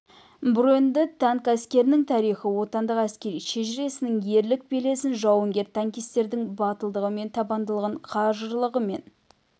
броньды танк әскерінің тарихы отанның әскери шежіресінің ерлік белесін жауынгер танкистердің батылдығы мен табандылығын қажырлығы мен